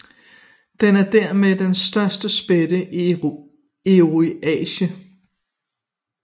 Den er dermed den største spætte i Eurasien